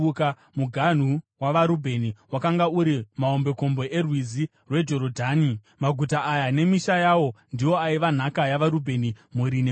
Muganhu wavaRubheni wakanga uri mahombekombe erwizi rweJorodhani. Maguta aya nemisha yawo ndiwo aiva nhaka yavaRubheni mhuri nemhuri.